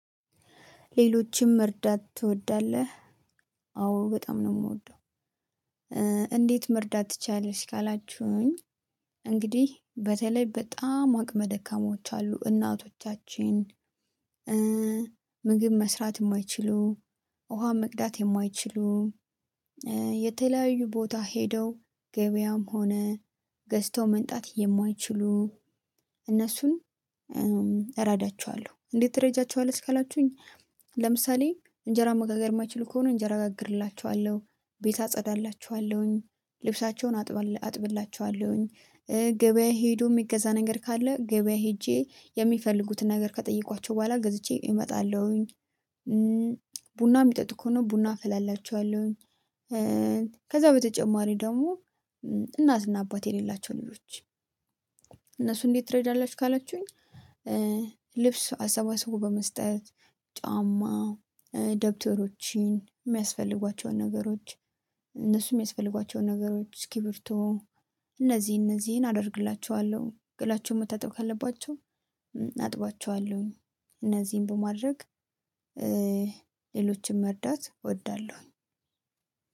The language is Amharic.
ሌሎችን መርዳት ትወዳለህ? አዎ፣ በጣም ነው የምወደው። "እንዴት መርዳት ትችያለሽ?" ካላችሁኝ እንግዲህ በተለይ በጣም አቅመ ደካሞች አሉ እናቶቻችን ምግብ መስራት የማይችሉ፣ ውሃ መቅዳት የማይችሉ፣ የተለያዩ ቦታ ሄደው ገበያም ሆነ ገዝተው መምጣት የማይችሉ እነሱን እረዳቸዋለሁ። "እንዴት ትረጂያቸዋልሽ?" ካላችሁኝ እምሳሌ እንጀራ መጋገር የማይችሉ ከሆነ እንጀራ ጋግርላቸዋለሁ። ቤት አጸዳላቸዋለሁኝ ልብሳቸውን አጥብላ አጥብላቸዋለሁኝ። ገበያ ሄዶም ሚገዛ ነገር ካለ ገበያ ሄጄ የሚፈልጉትን ነገር ከጠየቅኳቸው በኋላ ገዝቼ እመጣለሁኝ። ቡና የሚጠጡ ከሆነ ቡና አፈላላቸዋለሁኝ። ከዚያ በተጨማሪ ደግሞ እናትና አባት የሌላቸውን ልጆች፤ "እነሱን እንዴት ትረጂያለሽ?" ካላችሁኝ ልብስ አሰባስቦ በመስጠት፣ ጫማ፣ ደብተሮችን የሚያስፈልጓቸውን ነገሮች፣ እነሱ የሚያስፈልጓቸውን ነገሮች እስኪብርቶ፣ እነዚህን እነዚህን አደርግላቸዋለሁ፤ ገላቸውን መታጠብ ካለባቸው አጥብላቸዋለሁኝ። እነዚህን በማድረግ ሌሎችን መርዳታ እወዳለሁኝ።